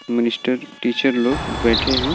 Minister teacher लोग बैठे हैं।